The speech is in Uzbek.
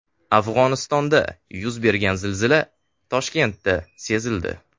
Afg‘onistonda yuz bergan zilzila Toshkentda sezildi .